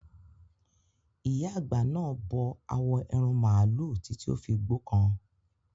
Ìyá àgbà náà bó awo ẹran màlúù títí ó fi gbókan.